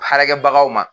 Baarakɛbagaw ma